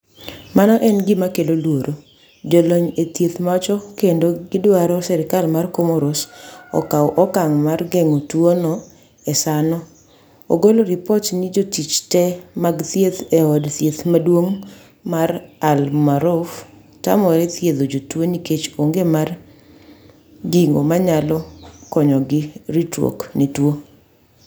"mano en gima kelo luoro "jolony e thieth wacho kendo gidwaro serkal ma komoros okaw okang' mar geng'o tuono e saano, ogolo ripot ni jotich te mag thieth e od thieth maduong' mar AL Maarouf tamore thiedho jotuo nikech onge mar gigo manayalo konyogi ritruwok ne tuo.